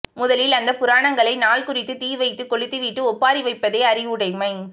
முதலில் அந்தப் புராணங்களை நாள் குறித்துத் தீ வைத்துக் கொளுத்தி விட்டு ஒப்பாரி வைப்பதே அறிவுடைமை